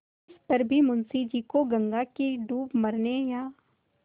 तिस पर भी मुंशी जी को गंगा में डूब मरने या